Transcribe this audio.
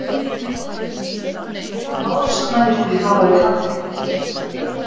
Árásarmennirnir hafa verið handteknir